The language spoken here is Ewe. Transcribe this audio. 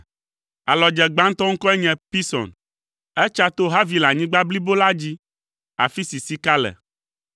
Alɔdze gbãtɔ ŋkɔe nye Pison. Etsa to Havilanyigba blibo la dzi, afi si sika le.